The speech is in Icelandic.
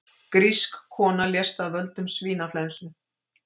Grísk kona lést af völdum svínaflensu